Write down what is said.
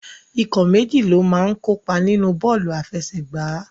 Ikọ̀ méjì ló máa ń kópa nínu bọ́ọ̀lù àfẹsẹ̀gbá.